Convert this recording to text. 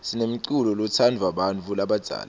sinemculo lotsndvwa bantfu labadzala